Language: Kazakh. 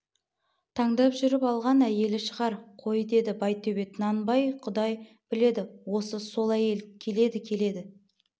таңдап жүріп алған әйелі шығар қой деді байтөбет нанбай құдай біледі осы сол әйел келеді келеді